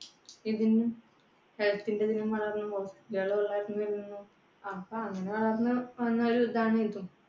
ഇതിന്, health ന്റെ അപ്പ അങ്ങനെ കാരണം